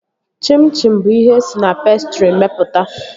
Chim chim bụ ihe esi na pestrị mepụta